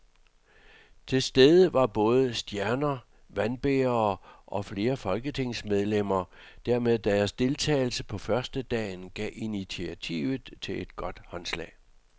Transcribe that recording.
Til stede var både stjerner, vandbærere og flere folketingsmedlemmer, der med deres deltagelse på førstedagen gav initiativet et godt håndslag.